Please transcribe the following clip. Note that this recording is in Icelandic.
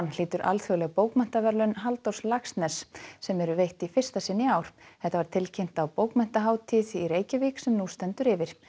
hlýtur alþjóðleg bókmenntaverðlaun Halldórs Laxness sem veitt eru í fyrsta sinn í ár þetta var tilkynnt á bókmenntahátíð í Reykjavík sem nú stendur yfir